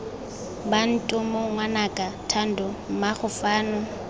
bantomo ngwanaka thando mmaago fano